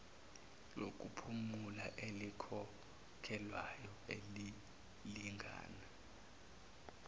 lokuphumula elikhokhelwayo elilingana